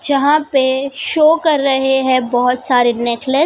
जहां पे शो कर रहे हैं बहोत सारे नेकले--